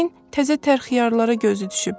Yəqin təzə tərə xiyarlara gözü düşüb.